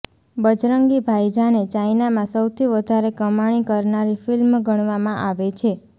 બજરંગી ભાઇજાનને ચાઇનામાં સૌથી વધારે કમાણી કરનારી ફિલ્મ ગણવામાં આવે છે